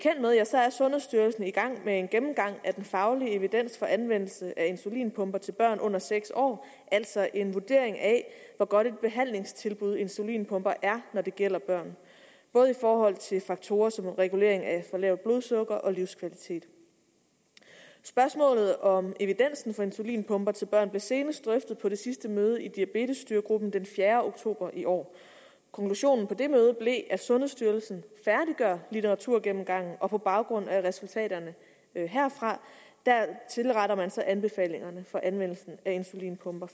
er sundhedsstyrelsen i gang med en gennemgang af den faglige evidens for anvendelsen af insulinpumper til børn under seks år altså en vurdering af hvor godt et behandlingstilbud insulinpumper er når det gælder børn både i forhold til faktorer som regulering af for lavt blodsukker og livskvalitet spørgsmålet om evidensen for insulinpumper til børn blev senest drøftet på det sidste møde i diabetesstyregruppen den fjerde oktober i år konklusionen på det møde blev at sundhedsstyrelsen færdiggør litteraturgennemgangen og på baggrund af resultaterne herfra tilretter man så de anbefalinger for anvendelsen af insulinpumper